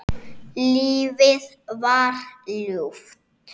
Lífið var ljúft.